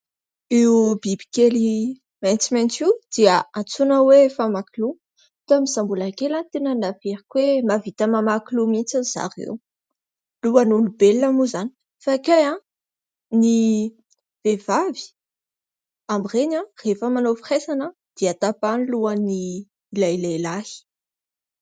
Io biby kely maitsomaitso io dia antsoina hoe famakiloha, tamin'izaho mbola kely tena noeveriko hoe mahavita mamaky loha mihitsy zareo, lohan'olombelona moa izany fa kay ny vehivavy amin'ny ireny rehefa manao firaisana dia tapahany ny lohany ilay lehilahy.